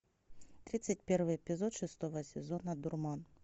тридцать первый эпизод шестого сезона дурман